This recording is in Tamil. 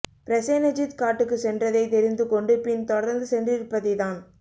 பிரசேனஜித் காட்டுக்கு சென்றதைத் தெரிந்து கொண்டு பின் தொடர்ந்து சென்றிருப்பதை தான்